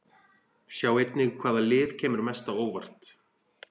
Sjá einnig: Hvaða lið kemur mest á óvart?